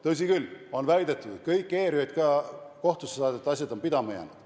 Tõsi küll, on väidetud, et kõik ERJK kohtusse saadud asjad on pidama jäänud.